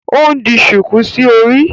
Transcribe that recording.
O n di shuku sí orí